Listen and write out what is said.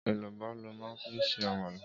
Élúbò lò mà fi n sé ámàlá